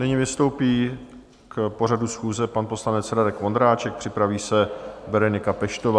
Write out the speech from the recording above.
Nyní vystoupí k pořadu schůze pan poslanec Radek Vondráček, připraví se Berenika Peštová.